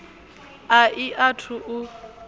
a i a thu u